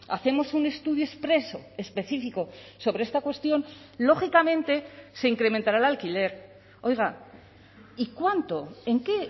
hacemos un estudio expreso específico sobre esta cuestión lógicamente se incrementara el alquiler oiga y cuánto en qué